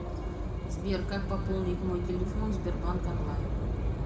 сбер как пополнить мой телефон в сбербанк онлайн